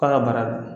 K'a ka baara dɔn